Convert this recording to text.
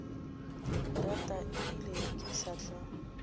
rata ebile ke sa tla